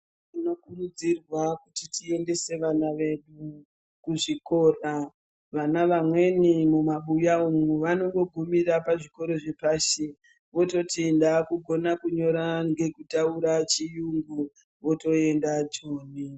Tino kurudzirwa kuti tiendese vana vedu mu zvikora vana vamweni mu mabuya umo vanongo gumira pa zvikoro zve pashi vototi ndaku gona kunyora ngeku taura chiyungu voto enda joni.